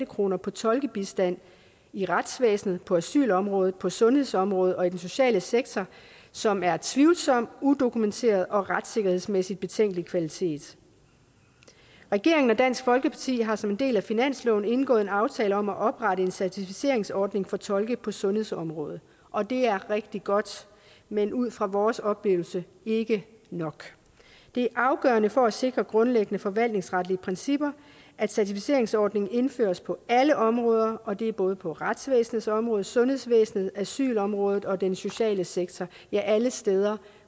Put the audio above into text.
kroner på tolkebistand i retsvæsenet på asylområdet på sundhedsområdet og i den sociale sektor som er tvivlsom udokumenteret og af retssikkerhedsmæssig betænkelig kvalitet regeringen og dansk folkeparti har som en del af finansloven indgået en aftale om at oprette en certificeringsordning for tolke på sundhedsområdet og det er rigtig godt men ud fra vores oplevelse ikke nok det er afgørende for at sikre grundlæggende forvaltningsretlige principper at certificeringsordningen indføres på alle områder og det er både på retsvæsenets område i sundhedsvæsenet på asylområdet og i den sociale sektor ja alle steder